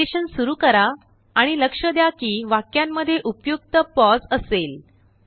narration सुरू करा आणि लक्ष द्या कि वाक्यांमध्येउपयुक्त पॉज़ असेल